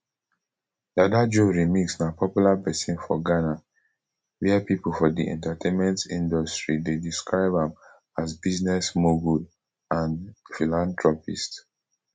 dada joe remix na popular pesin for ghana wia pipo for di entertainment industry dey describe am as business mogul and philanthropist